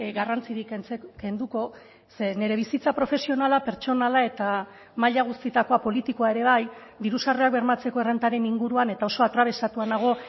garrantzirik kenduko ze nire bizitza profesionala pertsonala eta maila guztietakoa politikoa ere bai diru sarrerak bermatzeko errentaren inguruan eta oso atrabesatua nago